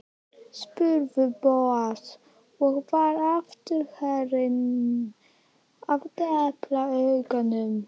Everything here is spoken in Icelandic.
spurði Bóas og var aftur farinn að depla augunum.